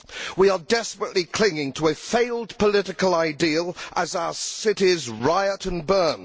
We are desperately clinging to a failed political ideal as our cities riot and burn.